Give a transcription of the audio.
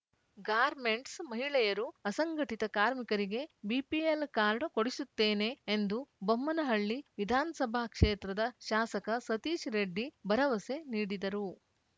garments ಮಹಿಳೆಯರು ಅಸಂಘಟಿತ ಕಾರ್ಮಿಕರಿಗೆ ಬಿಪಿಎಲ್‌ ಕಾರ್ಡ್‌ ಕೊಡಿಸುತ್ತೇನೆ ಎಂದು ಬೊಮ್ಮನಹಳ್ಳಿ ವಿಧಾನಸಭಾ ಕ್ಷೇತ್ರದ ಶಾಸಕ ಸತೀಶ್‌ ರೆಡ್ಡಿ ಭರವಸೆ ನೀಡಿದರು